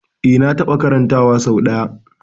Eh na taɓa karanta wa sau ɗaya